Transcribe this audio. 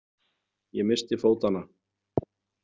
Ég missti fótanna.